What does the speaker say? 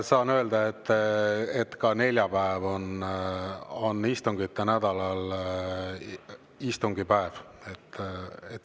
Saan öelda, et ka neljapäev on istungite nädalal istungipäev.